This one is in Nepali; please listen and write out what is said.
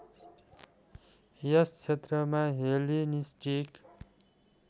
यस क्षेत्रमा हेलेनिस्टिक